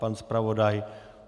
Pan zpravodaj?